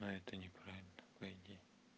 а это не правильно по идее